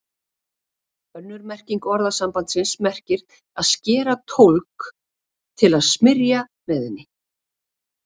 Önnur merking orðasambandsins merkir að skera tólg til að smyrja með henni.